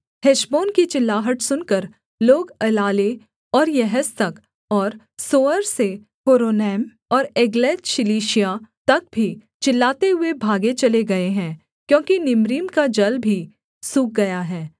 Heshbon की चिल्लाहट सुनकर लोग एलाले और यहस तक और सोअर से होरोनैम और एग्लतशलीशिया तक भी चिल्लाते हुए भागे चले गए हैं क्योंकि निम्रीम का जल भी सूख गया है